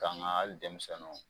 Ka nga ali denmisɛnniiw